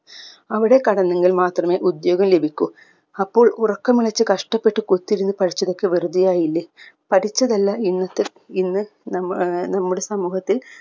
അവിടെ കടന്നെങ്കിലും മാത്രമേ ഉദ്യോഗം ലഭിക്കൂ അപ്പോൾ ഉറക്കമൊണച്ച് കഷ്ടപ്പെട്ട് കുറ്റത്തിയിരുന്ന് പഠിച്ചതൊക്കെ വെറുതെയായില്ല പഠിച്ചതല്ല ഇന്നത്തെ ഇന്ന് നമ്മ ഏർ നമ്മുടെ സമൂഹത്തിൽ